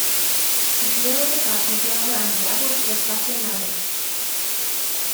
сделай заказ на килограмм яблок с доставкой на дом